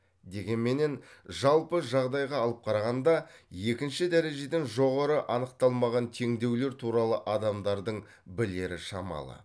дегенменен жалпы жағдайға алып қарағанда екінші дәрежеден жоғары анықталмаған теңдеулер туралы адамдардың білері шамалы